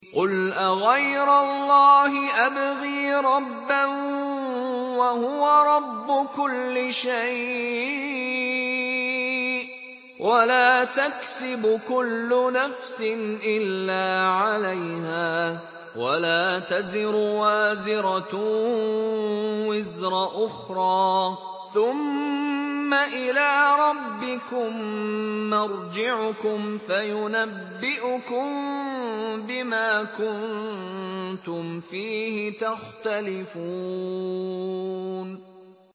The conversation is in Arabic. قُلْ أَغَيْرَ اللَّهِ أَبْغِي رَبًّا وَهُوَ رَبُّ كُلِّ شَيْءٍ ۚ وَلَا تَكْسِبُ كُلُّ نَفْسٍ إِلَّا عَلَيْهَا ۚ وَلَا تَزِرُ وَازِرَةٌ وِزْرَ أُخْرَىٰ ۚ ثُمَّ إِلَىٰ رَبِّكُم مَّرْجِعُكُمْ فَيُنَبِّئُكُم بِمَا كُنتُمْ فِيهِ تَخْتَلِفُونَ